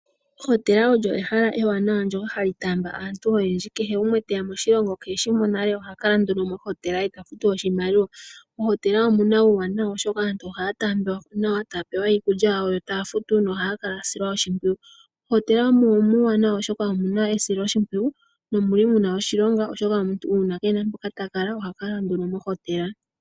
Ohotela olyo ehala ewanawa